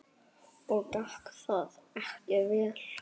Og gekk það ekki vel.